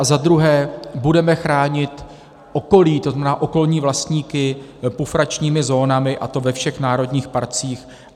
A za druhé, budeme chránit okolí, to znamená okolní vlastníky, pufračními zónami, a to ve všech národních parcích.